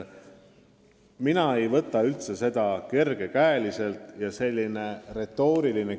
Ma ei suhtu sellesse teemasse üldse mitte kergekäeliselt.